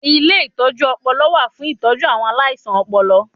Ilé ìtọjú ọpọlọ wà fún ìtọ́jú àwọn aláìsàn ọpọlọ